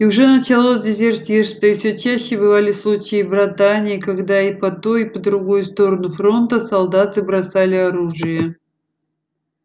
и уже началось дезертирство и всё чаще бывали случаи братания когда и по ту и по другую сторону фронта солдаты бросали оружие